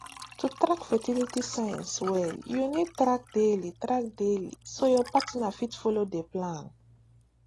to track fertility signs well you need track daily track daily so your partner fit follow the plan